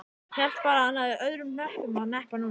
Hélt bara að hann hefði öðrum hnöppum að hneppa núna.